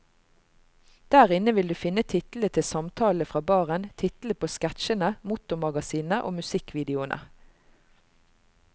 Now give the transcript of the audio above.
Der inne vil du finne titlene til samtalene fra baren, titlene på sketsjene, motormagasinene og musikkvideoene.